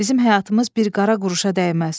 Bizim həyatımız bir qara quruşa dəyməz.